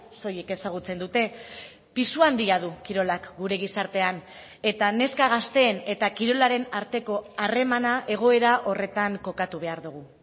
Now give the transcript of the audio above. soilik ezagutzen dute pisu handia du kirolak gure gizartean eta neska gazteen eta kirolaren arteko harremana egoera horretan kokatu behar dugu